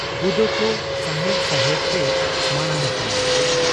ᱵᱩᱫᱟᱹᱠᱚ ᱥᱟᱦᱮᱲ ᱥᱟᱦᱮᱲ ᱛᱮ ᱢᱟᱬᱟᱝ ᱟᱠᱟᱱᱟᱭ ᱾